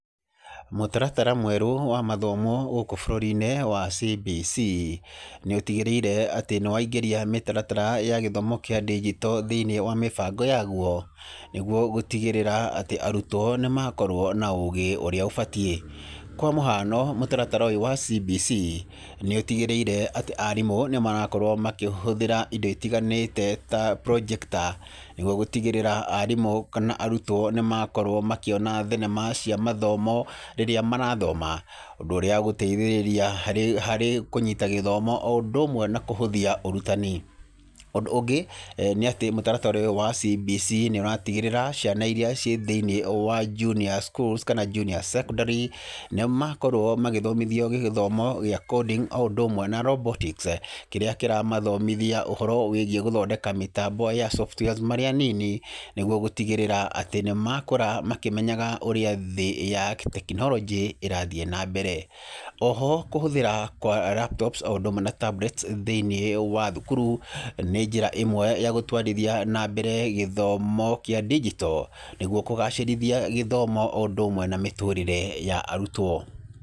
Mũtaratara mwerũ wa mathomo gũkũ bũrũri-inĩ wa CBC nĩ ũtĩgĩrĩire atĩ nĩ waingĩria mĩtaratara ya gĩthomo gĩa ndĩjito thĩiniĩ wa mĩbango yaguo nĩguo gũtigĩrĩra atĩ arutwo nĩ makorwo na ũgĩ ũrĩa ũbatiĩ. Kwa mũhano mũtaratara ũyũ wa CBC nĩ ũtigĩrĩire atĩ arimũ nĩmarakorwo makĩhũthĩra indo itiganĩte ta projector nĩguo gũtigĩrĩra arimũ kana arutwo nĩmakorwo makĩona thenema cia mathomo rĩrĩa marathoma, ũndũ ũrĩa ũgũteithĩrĩria harĩ kũnyita gĩthomo o ũndũ ũmwe na kũhũthia ũrutani. Ũndũ ũngĩ nĩ atĩ mũtaratara ũyũ wa CBC nĩũratigĩrĩra ciana iria ciĩ thĩinĩ wa junior schools kana junior secondary nĩmakorwo magĩthomithio gĩthomo gĩa coding o ũndũ ũmwe na robotics kĩrĩa kĩramathomithia ũhoro wĩgiĩ gũthondeka mĩtambo ya softwares marĩ anini nĩguo gũtigĩrĩra atĩ nĩmakũra makĩmenyaga ũrĩa thĩ ya tekinoronjĩ ĩrathiĩ na mbere. O ho kũhũthĩra kwa laptops o ũndũ ũmwe na tablets thĩinĩ wa thukuru, nĩ njĩra ĩmwe ya gũtwarithia na mbere gĩthomo kĩa ndijito nĩguo kũgacirithia gĩthomo o ũndũ ũmwe na mĩtũrĩre ya arutwo.